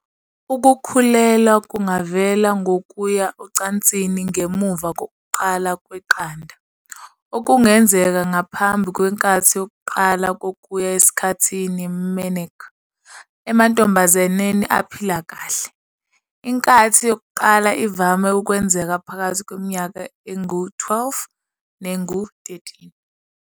Ukukhulelwa kungavela ngokuya ocansini ngemuva kokuqala kweqanda, okungenzeka ngaphambi kwenkathi yokuqala yokuya esikhathini, menarche. Emantombazaneni aphile kahle, inkathi yokuqala ivame ukwenzeka phakathi kweminyaka engu-12 nengu-13.